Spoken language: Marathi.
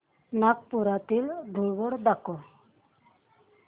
नागपुरातील धूलवड दाखव